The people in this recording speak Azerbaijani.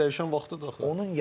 Mentalitet dəyişən vaxtıdır axı.